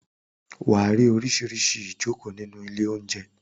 Wà á rí oríṣiríṣi ìjokòó nínú ilé-oúnjẹ.